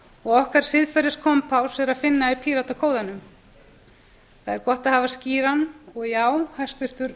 og okkar siðferðiskompás er að finna í píratakóðanum það er gott að hafa skýran og já hæstvirtur